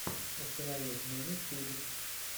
установи минит физикс